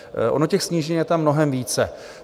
Ono těch snížení je tam mnohem více.